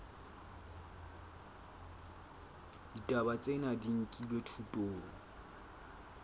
ditaba tsena di nkilwe thutong